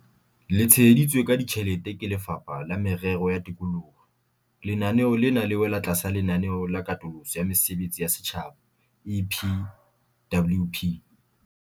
Le tsheheditswe ka ditjhelete ke Lefapha la Merero ya Tikoloho, lenaneo lena le wela tlasa Lenaneo la Katoloso ya Mesebetsi ya Setjhaba, EPWP.